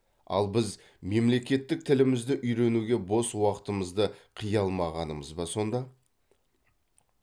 ал біз мемлекеттік тілімізді үйренуге бос уақытымызды қия алмағанымыз ба сонда